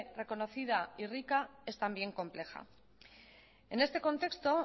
reconocida y rica es también compleja en este contexto